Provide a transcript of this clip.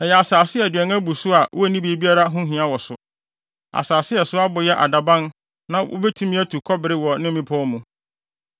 Ɛyɛ asase a aduan abu wɔ so a wonni biribiara ho hia wɔ so; asase a ɛso abo yɛ adaban na wobetumi atu kɔbere wɔ ne mmepɔw mu.